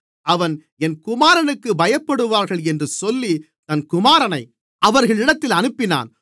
அவன் என் குமாரனுக்கு பயப்படுவார்கள் என்று சொல்லி தன் குமாரனை அவர்களிடத்தில் அனுப்பினான்